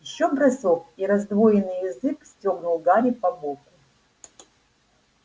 ещё бросок и раздвоенный язык стёгнул гарри по боку